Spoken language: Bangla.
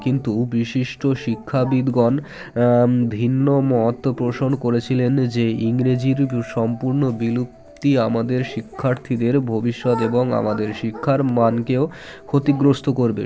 কিন্তু বিশিষ্ট শিক্ষাবিদগণ আ ভিন্ন মত প্রসন করেছিলেন যে ইংরেজির সম্পুর্ন বিলুপ্তি আমাদের শিক্ষার্থীদের ভবিষ্যৎ এবং আমাদের শিক্ষার মানকেও ক্ষতিগ্রস্ত করবে